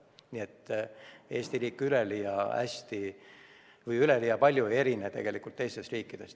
Nii et Eesti riik ei erine siin tegelikult üleliia palju teistest riikidest.